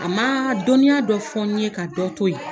A man dɔnniya dɔ fɔ n ye ka dɔ to ye.